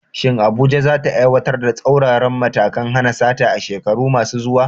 Shin Abuja za ta aiwatar da tsauraran matakan hana sata a shekaru masu zuwa?